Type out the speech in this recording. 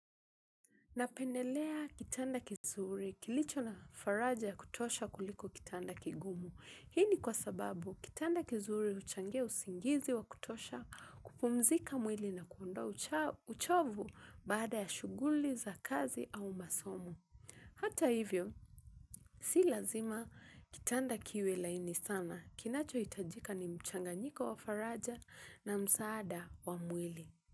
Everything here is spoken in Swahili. Napendelea kitanda kizuri kilicho na faraja ya kutosha kuliko kitanda kigumu. Hii ni kwa sababu kitanda kizuri huchangia usingizi wa kutosha kupumzika mwili na kuondowa uchovu baada ya shuguli za kazi au masomo. Hata hivyo, si lazima kitanda kiwe laini sana. Kinacho hitajika ni mchanganyiko wa faraja na msaada wa mwili.